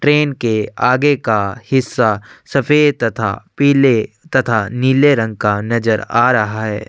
Train के आगे का हिस्सा सफ़ेद तथा पीले तथा नीले रंग का नजर आ रहा है।